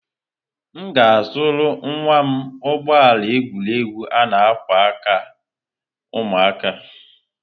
M ga-azụrụ nwa m ụgbọ ala egwuregwu a-na ákwà aka ụmụaka.